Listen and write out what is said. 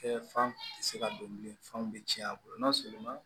Kɛ fan tɛ se ka don bilen fanw bɛ tiɲɛ a kɔnɔ n'a sɔrɔ